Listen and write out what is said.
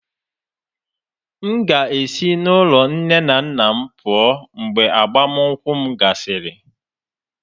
M ga-esi n'ụlọ nne na nna m pụọ mgbe agbamakwụkwọ m gasịrị